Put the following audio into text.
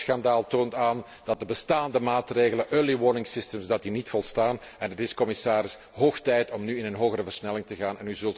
Het gokschandaal toont aan dat de bestaande maatregelen, early warning systems dat die niet volstaan en het is, commissaris, hoog tijd om nu in een hogere versnelling te gaan.